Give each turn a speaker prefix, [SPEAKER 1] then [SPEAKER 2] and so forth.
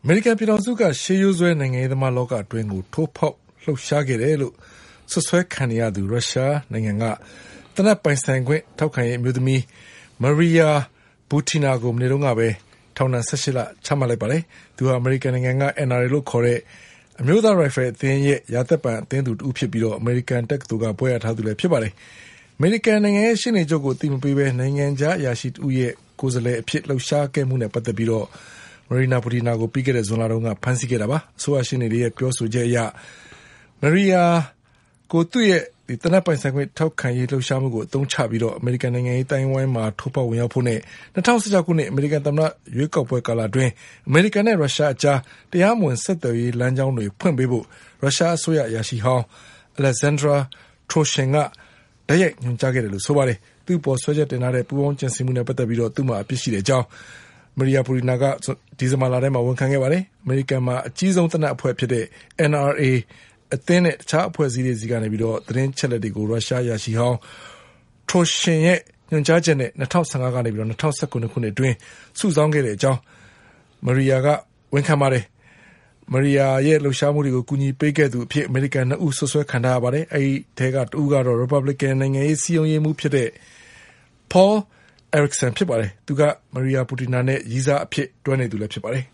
[SPEAKER 1] မေရိကန်ပြည်ထောင်စုက ရှေးရိုးစွဲ နိုင်ငံရေးသမားလောကအတွင်း ထိုးဖေါက်လှုပ်ရှား ခဲ့တဲ့သူလို့ စွပ်စွဲခံ နေရတဲ့ ရုရှားနိုင်ငံက သေနတ်ပိုင်ဆိုင်ခွင့် ထောက်ခံရေး အမျိုးသမီး Maria Butina ကို မနေ့ကပဲ ထောင်ဒဏ် ၁၈ လချမှတ်လိုက်ပါတယ်။ သူဟာ အမေရိကန်က NRA လို့ခေါ်တဲ့ အမျိုးသား ရိုင်ဖယ်အသင်းရဲ့ ရာသက်ပန် အသင်း သူတဦးဖြစ်ပြီး အမေရိကန်တက္ကသိုလ်က ဘွဲ့ရထားသူလည်းဖြစ်ပါတယ်။ အမေရိကန်နိုင်ငံရဲ့ရှေ့နေချုပ်ကိုအသိမပေးဘဲ နိုင်ငံခြား အရာရှိတဦးရဲ့ကိုယ်စားလှယ် အဖြစ် လှုပ်ရှားခဲ့မှုနဲ့ပတ်သက်ပြီး Maria Butinaကို ပြီးခဲ့တဲ့ ဇူလိုင်လက ဖမ်းဆီးခဲ့တာပါ။ အစိုးရရှေ့နေတွေရဲ့ပြောဆိုချက်အရ Maria Butinaကိုသူ့ရဲ့ သေနတ်ပိုင်ဆိုင်ခွင့် ထောက်ခံရေး လှုပ်ရှားမှုကို အသုံးချပြီး အမေရိကန်နိုင်ငံရေးအသိုင်းအဝိုင်းမှာ ထိုးဖေါက် ဝင်ရောက်ဖို့နဲ့ ၂၀၁၆ ခု အမေရိကန်သမ္မတ ရွေးကောက်ပွဲ ကာလအတွင်း အမေရိကန်နဲ့ ရုရှားအကြား တရားမဝင် ဆက်သွယ်ရေးလမ်းကြောင်းတွေ ဖွင့်ပေးဖို့ ရုရှားအစိုးရ အရာရှိဟောင်း Alexander Torshin ကတိုက်ရိုက်ညွန် ကြားခဲ့တာလို့ ဆိုပါတယ်။ သူ့အပေါ် စွဲချက်တင်ထားတဲ့ ပူးပေါင်းကြံစည်မှုနဲ့ပတ်သက်ပြီး သူ့မှာအပြစ်ရှိကြောင်း Maria Butina က ဒီဇင်ဘာ လမှာဝန်ခံခဲ့ပါတယ်။ အမေရိကန်မှာ အကြီးဆုံးသေနတ်အဖွဲ့ဖြစ်တဲ့ NRA အသင်းနဲ့ တခြားအဖွဲ့ အစည်းတွေ ဆီက သတင်း အချက် အလက်တွေကို ရုရှားအရာရှိဟောင်း Torshin ရဲ့ညွှန်ကြားချက်နဲ့ ၂၀၁၅ ကနေ ၂၀၁၇ ခုနှစ်အတွင်း စုဆောင်းခဲ့ကြောင်းMaria Butina က ဝန်ခံခဲ့ပါတယ်။ Maria Butina ရဲ့လှုပ်ရှားမှုတွေကိုကူညီပေးခဲ့သူအဖြစ် အမေရိကန် ၂ ဦး စွပ်စွဲခံထားရ ပါတယ်။ အဲဒီအထဲက တဦးကတော့ ရီပတ်ဘလစ်ကန်နိုင်ငံရေး စည်းရုံးရေးမှူးဖြစ်တဲ့ Paul Erickson ဖြစ်ပါတယ်။ သူက Maria Butina နဲ့ရည်းစားအဖြစ် တွဲနေသူဖြစ်ပါတယ်